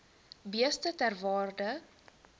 beeste ter waarde